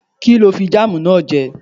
Kí ló fi jáàmù náà jẹ?